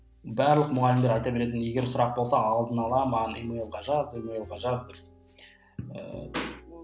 барлық мұғалімдер айта беретін егер сұрақ болса алдын ала маған емайлға жаз емайлға жаз деп ыыы